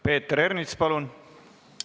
Peeter Ernits, palun!